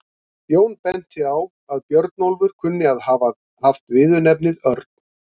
Jón benti á að Björnólfur kunni að hafa haft viðurnefnið örn.